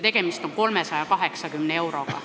Tegemist on 380 euroga.